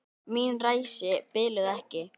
Mín ræsi biluðu ekki.